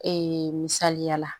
Ee misaliya la